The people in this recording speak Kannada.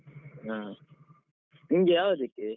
ಹಾ, ನಿನ್ಗೆ ಯಾವಗಕ್ಕೆ.